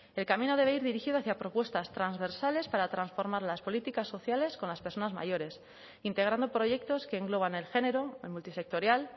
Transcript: el camino debe ir dirigido hacia propuestas transversales para transformar las políticas sociales con las personas mayores integrando proyectos que engloban el género el multisectorial